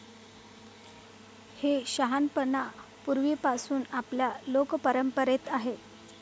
हे शहाणपण पूर्वीपासून आपल्या लोकपरंपरेत आहे.